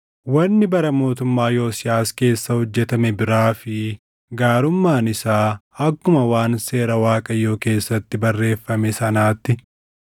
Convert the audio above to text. Wanni bara mootummaa Yosiyaas keessa hojjetame biraa fi gaarummaan isaa akkuma waan Seera Waaqayyoo keessatti barreeffame sanaatti,